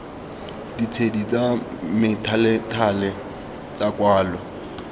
ditshedi tsa methalethale tsa kwalo